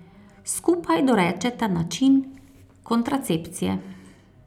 Skupaj dorečeta način kontracepcije.